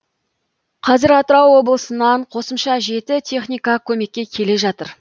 қазір атырау облысынан қосымша жеті техника көмекке келе жатыр